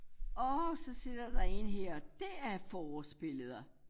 Orh så sidder der én her det er forårsbilleder